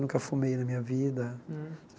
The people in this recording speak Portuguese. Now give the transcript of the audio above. Nunca fumei na minha vida.